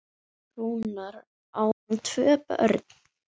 Rúnar, á hann tvö börn.